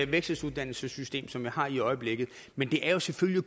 vekseluddannelsessystem som vi har i øjeblikket men det er jo selvfølgelig